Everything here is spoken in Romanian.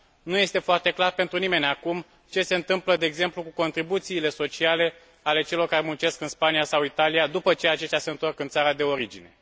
Nu este foarte clar pentru nimeni acum, ce se întâmplă, de exemplu, cu contribuțiile sociale ale celor care muncesc în Spania sau Italia, după ce aceștia se întorc în țara de origine.